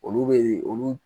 Olu bɛ ye olu